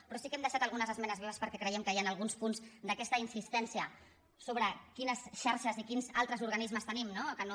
però sí que hem deixat algunes esmenes vives perquè creiem que hi han alguns punts d’aquesta insistència sobre quines xarxes i quins altres organismes tenim no que no